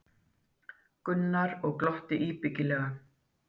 Gunnar og glotti íbyggilega.